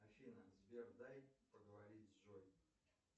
афина сбер дай поговорить с джой